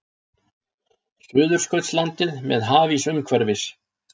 Suðurskautslandið með hafís umhverfis.